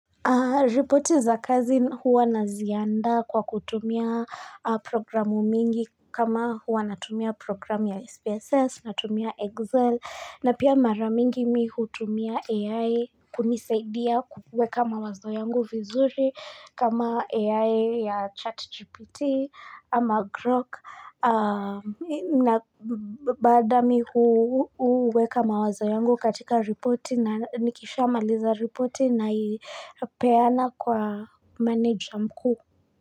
Ripoti za kazi huwa nazianda kwa kutumia programu mingi kama huwa natumia programu ya SPSS, natumia Excel, na pia maramingi mi hutumia AI kunisaidia kukueka mawazo yangu vizuri kama AI ya chat GPT ama GROC. Na baada mi huu uweka mawazo yangu katika reporti na nikisha maliza reporti na ipeana kwa manager mkuu.